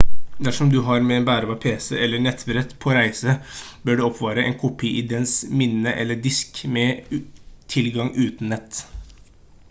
dersom du har med en bærbar pc eller nettbrett på reise bør du oppbevare en kopi i dens minnet eller disk med tilgang uten nett